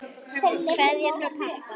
Kveðja frá pabba.